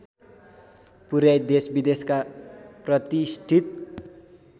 पुर्‍याई देशविदेशका प्रतिष्ठित